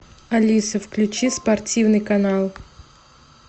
алиса включи спортивный канал